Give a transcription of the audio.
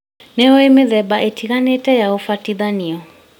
Nĩũĩ mĩthemba ĩtiganĩte ya ũbatithania?